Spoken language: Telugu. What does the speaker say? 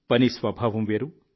పని స్వభావం వేరు